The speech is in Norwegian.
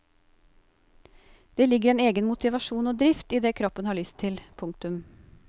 Det ligger en egen motivasjon og drift i det kroppen har lyst til. punktum